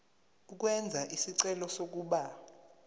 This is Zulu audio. ukwenza isicelo sokuba